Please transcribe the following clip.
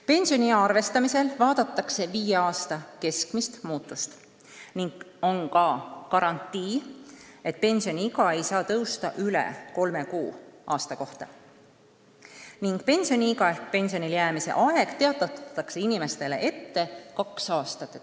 Pensioniea arvestamisel vaadatakse viie aasta keskmist muutust, aga on ka garantii, et pensioniiga ei saa tõusta üle kolme kuu aasta kohta ning pensioniiga ehk pensionile jäämise aeg teatatakse inimestele ette kaks aastat.